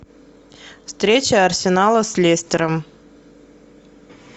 встреча арсенала с лестером